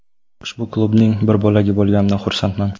Ushbu klubning bir bo‘lagi bo‘lganimdan xursandman.